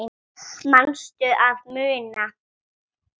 Manstu að muna?